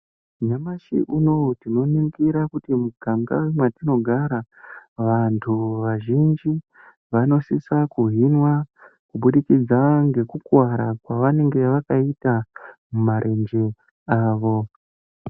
Nyamashi unowu tinoningira kuti muganga mungava matinogara vantu vazhinji vanosisa kuhinwa kubudikidza ngekuwara kuburikidza nemarenje awo.